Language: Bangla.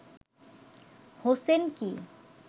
হোসেন কী